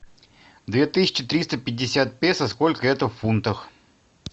две тысячи триста пятьдесят песо сколько это в фунтах